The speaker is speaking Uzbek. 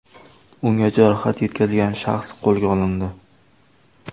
Unga jarohat yetkazgan shaxs qo‘lga olindi.